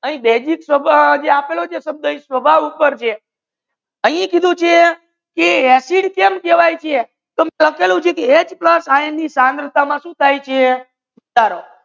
યાહી base સ્વભાવ જે આપલો છે સ્વભાવ ઉપર છે યાહી કીધુ છે acid કેમ કેહવાયે છે ચાલો